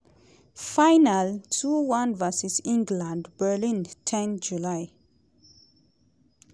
final two one vs england (berlin ten july)